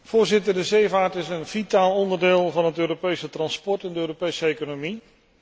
Voorzitter, de zeevaart is een vitaal onderdeel van het Europese transport en de Europese economie.